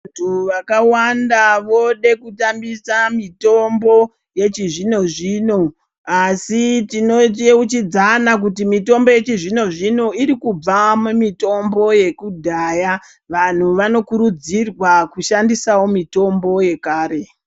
Vantu vakawanda vode ku tambisa mitombo yechi zvino zvino asi tino yeuchidzana kuti mitombo yechi zvino zvino iri kubva mi mitombo yeku dhaya vanhu vano kurudzirwa ku shandisawo mitombo yekare.